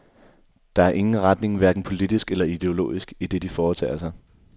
Der er ingen retning, hverken politisk eller ideologisk i det de foretager sig.